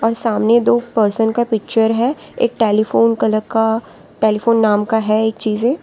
सामने दो पर्सन का पिक्चर है एक टेलीफोन का टेलीफोन नाम का है एक चीजें।